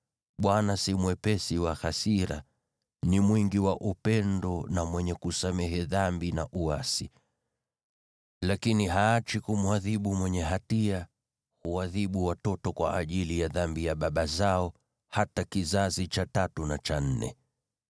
‘ Bwana si mwepesi wa hasira, ni mwingi wa upendo na mwenye kusamehe dhambi na uasi. Lakini haachi kumwadhibu mwenye hatia, huadhibu watoto kwa ajili ya dhambi ya baba zao hata kizazi cha tatu na cha nne.’